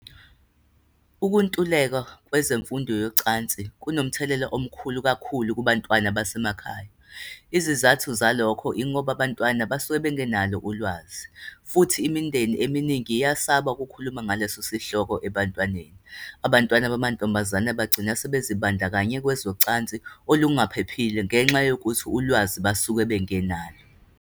Ukuntuleka kwezemfundo yocansi kunomthelela omkhulu kakhulu kubantwana basemakhaya. Izizathu zalokho ingoba abantwana basuke bengenalo ulwazi, futhi imindeni eminingi iyasaba kukhuluma ngaleso sihloko ebantwaneni. Abantwana bamantombazane bagcina sebezibandakanya kwezocansi olungaphephile ngenxa yokuthi ulwazi basuke bengenalo.